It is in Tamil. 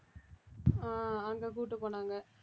ஆஹ் அங்க கூட்டிட்டு போனாங்க